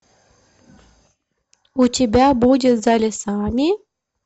у тебя будет за лесами